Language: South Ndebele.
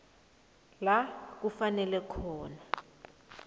la kufuneka khona